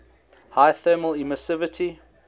high thermal emissivity